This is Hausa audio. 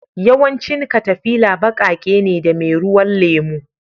Yawancin katafila baƙaƙe ne da meruwan lemu